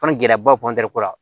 gɛlɛbaw ko la